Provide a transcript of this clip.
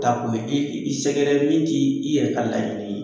Ta ko i sɛgɛrɛ min t'i yɛrɛ ka laɲini ye.